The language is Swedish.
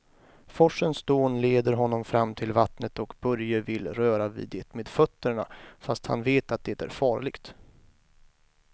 Forsens dån leder honom fram till vattnet och Börje vill röra vid det med fötterna, fast han vet att det är farligt.